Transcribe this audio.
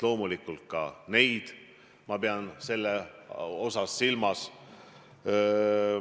Loomulikult ka neid ma pean seda öeldes silmas.